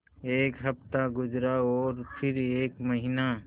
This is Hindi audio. एक हफ़्ता गुज़रा और फिर एक महीना